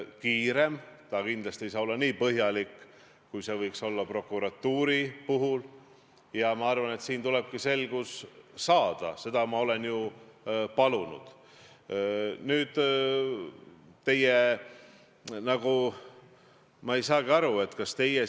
Kuidas sa seletad nendele inimestele, kes ootavad sidusamat ühiskonda ja kes tunnevad ennast solvatuna, seda, et Urmas Reitelmann, arvestades kõike seda, mida ta on öelnud, saadetakse tänutäheks esindama Eesti riiki?